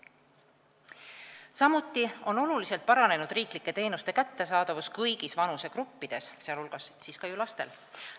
Samuti on oluliselt paranenud riiklike teenuste kättesaadavus kõigis vanusegruppides, sh lastel.